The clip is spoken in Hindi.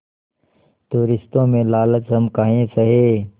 तो रिश्तों में लालच हम काहे सहे